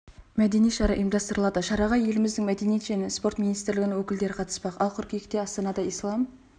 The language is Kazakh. мәдени шара ұйымдастырылады шараға еліміздің мәдениет және спорт министрлігінің өкілдері қатыспақ ал қыркүйекте астанада ислам